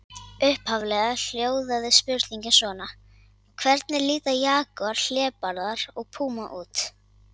Upphaflega hljóðaði spurningin svona: Hvernig líta jagúar, hlébarði og púma út?